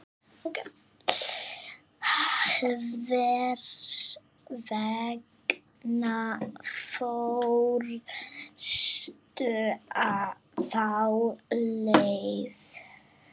Hvers vegna fórstu þá leið?